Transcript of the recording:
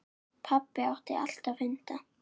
Pabbi átti alltaf hunda.